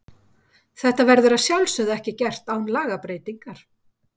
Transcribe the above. Þetta verður að sjálfsögðu ekki gert án lagabreytingar.